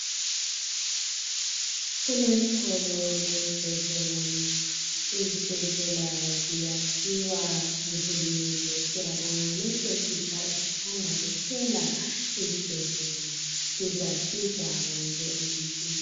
Kulesikolo lesibhedlela. Izibhedlela ziyakhiwa nguhulumende, Lesi esitsha esisanda kuphela isibhedlela, sizasiza wonke umuntu.